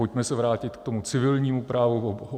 Pojďme se vrátit k tomu civilnímu právu.